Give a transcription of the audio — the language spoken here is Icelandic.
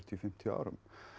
til fimmtíu árum